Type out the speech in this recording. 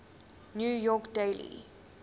new york daily